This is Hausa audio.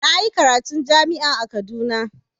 Na yi karatun jami'a a Kaduna.